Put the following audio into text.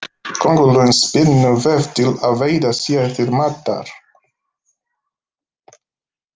Köngulóin spinnur vef til að veiða sér til matar.